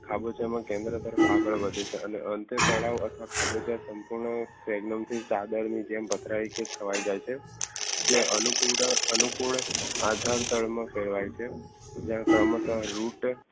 ખાબોચિયામાં કેમેરો તરફ આગળ વધે છે અને અંતે તળાવ અથવા ખાબોચિયા ખવાઈ જાય છે. જે આનુપૂરા આનુપૂરે આધાર થડ માં ફેરવાય છે જ્યાં કરમાટર root